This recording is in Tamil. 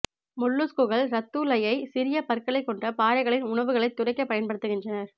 மொல்லுஸ்குகள் ரத்தூலையை சிறிய பற்களைக் கொண்ட பாறைகளின் உணவுகளைத் துடைக்க பயன்படுத்துகின்றனர்